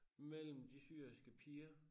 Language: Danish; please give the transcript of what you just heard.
Mellem de syriske piger